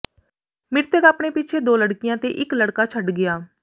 ਮ੍ਰਿਤਕ ਆਪਣੇ ਪਿੱਛੇ ਦੋ ਲੜਕੀਆਂ ਤੇ ਇਕ ਲੜਕਾ ਛੱਡ ਗਿਆ